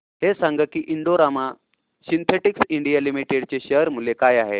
हे सांगा की Indo Rama Synthetics India Limited चे शेअर मूल्य काय आहे